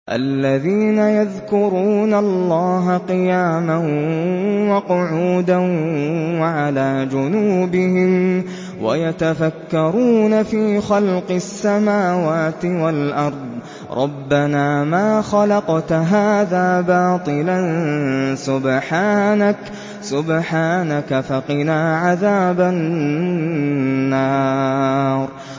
الَّذِينَ يَذْكُرُونَ اللَّهَ قِيَامًا وَقُعُودًا وَعَلَىٰ جُنُوبِهِمْ وَيَتَفَكَّرُونَ فِي خَلْقِ السَّمَاوَاتِ وَالْأَرْضِ رَبَّنَا مَا خَلَقْتَ هَٰذَا بَاطِلًا سُبْحَانَكَ فَقِنَا عَذَابَ النَّارِ